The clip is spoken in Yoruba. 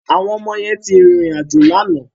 Àwọn ọmọ yẹn ti rìnrìn àjò lánàá.